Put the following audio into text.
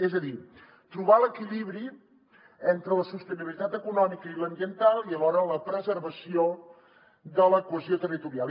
és a dir trobar l’equilibri entre la sostenibilitat econòmica i l’ambiental i alhora la preservació de la cohesió territorial